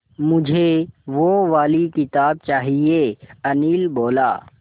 मुझे वो वाली किताब चाहिए अनिल बोला